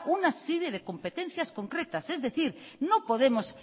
una serie de competencias concretas es decir no podemos